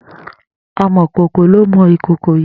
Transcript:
Àmọ̀kókó wó ló mọ̀ ikókó yi?